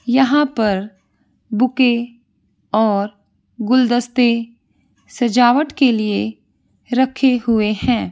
यहाँ पर बुके और गुलदस्ते सजावट के लिए रखे हुए हैं।